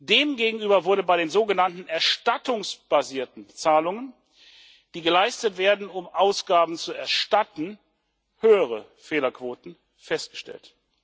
Demgegenüber wurden bei den sogenannten erstattungsbasierten Zahlungen, die geleistet werden, um Ausgaben zu erstatten, höhere Fehlerquoten festgestellt.